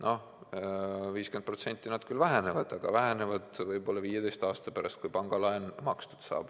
Noh, 50% nad küll vähenevad, aga võib-olla 15 aasta pärast, kui pangalaen saab makstud.